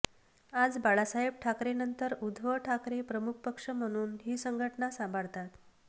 आज बाळासाहेब ठाकरेंनंतर उद्धव ठाकरे पक्षप्रमुख म्हणून ही संघटना सांभाळतात